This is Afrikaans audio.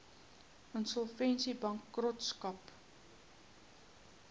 insolvensiebankrotskap